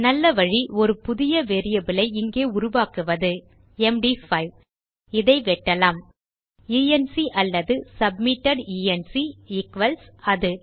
நல்ல வழி ஒரு புதிய வேரியபிள் ஐ இங்கே உருவாக்குவது எம்டி5 - இதை வெட்டலாம் என்க் அல்லது சப்மிட்டட் என்க் ஈக்வல்ஸ் அது